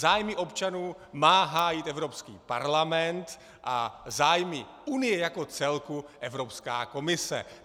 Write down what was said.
Zájmy občanů má hájit Evropský parlament a zájmy unie jako celku Evropská komise.